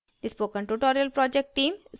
spoken tutorial project team